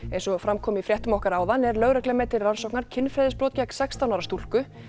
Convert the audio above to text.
eins og fram kom í fréttum okkar áðan er lögreglan með til rannsóknar kynferðisbrot gegn sextán ára stúlku